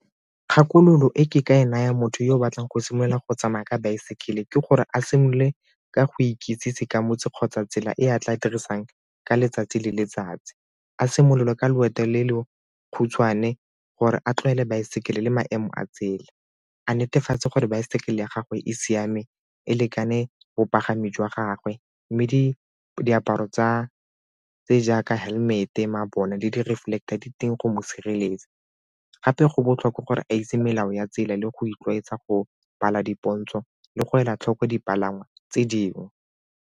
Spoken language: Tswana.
Kgakololo e ke ka e naya motho yo o batlang go simolola go tsamaya ka baesekele ke gore a simolole ka go ikitsise ka motse kgotsa tsela e a tla dirisang ka letsatsi le letsatsi. A simololwe ka loeto le le khutshwane gore a tlwaele baesekele le maemo a tsela, a netefatse gore baesekele ya gagwe e siame e lekane bapagami jwa gagwe mme diaparo tsa tse jaaka helmet-e, mabone le reflector di teng go mo sireletsa gape go botlhokwa gore a itse melao ya tsela le go itlwaetsa go bala dipontsho le go ela tlhoko dipalangwa tse dingwe.